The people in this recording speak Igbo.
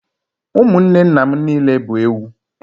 Ụmụnne nna m niile bụ ewu.